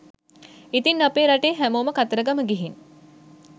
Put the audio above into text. ඉතින් අපේ රටේ හැමෝම කතරගම ගිහින්